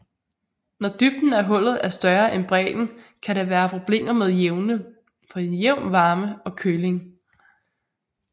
Når dybden af hullet er større end bredden kan der være problemer med jævn varme og køling